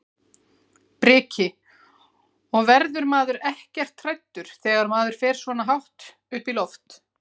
Breki: Og verður maður ekkert hræddur þegar maður fer svona hátt upp í loft?